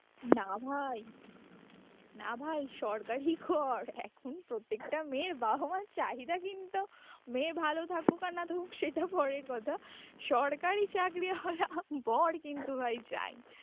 না ভাই না ভাই সরকারি কর, এখন প্রত্যেকটা মেয়ের বাবা মার চাহিদা কিন্তু, মেয়ে ভালো থাকুক আর না থাকুক সেটা পরের কথা সরকারি চাকরি ওয়ালা বর কিন্তু ভাই চাই